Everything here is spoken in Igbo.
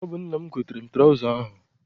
Ọ bụ nna m goteere m traụza ahụ.